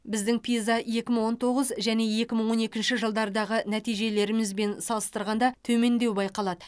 біздің пиза екі мың тоғыз және екі мың он екінші жылдардағы нәтижелерімізбен салыстырғанда төмендеу байқалады